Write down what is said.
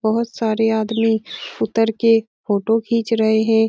बहुत सारे आदमी उतर के फोटो खीच रहे है ।